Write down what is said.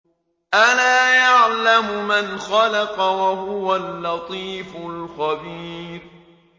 أَلَا يَعْلَمُ مَنْ خَلَقَ وَهُوَ اللَّطِيفُ الْخَبِيرُ